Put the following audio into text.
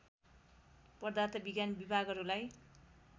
पदार्थ विज्ञान विभागहरूलाई